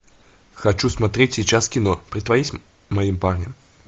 хочу смотреть сейчас кино притворись моим парнем